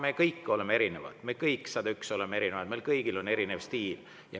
Me kõik, 101, oleme erinevad ja meil kõigil on erinev stiil.